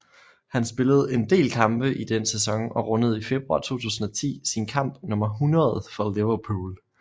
Han spillede en del kampe i den sæson og rundede i februar 2010 sin kamp nummer 100 for Liverpool